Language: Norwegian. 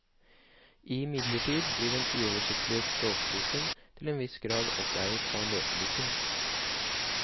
Imidlertid blir den uoversiktlige språkboken til en viss grad oppveiet av leseboken.